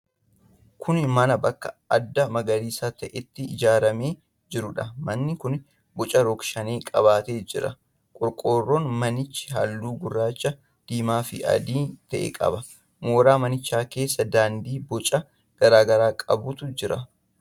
Kun mana bakka addaa magariisa ta'etti ijaaramee jiruudha. Manni kun boca rog-shanee qabaatee ijaarame. Qorqorroon manichaa halluu gurraacha, diimaa fi adii ta'e qaba. Mooraa manichaa keessa daandii boca garaa garaa qabutu jira.